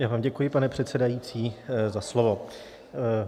Já vám děkuji, pane předsedající, za slovo.